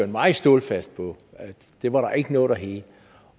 meget stålfast på at det var der ikke noget der hed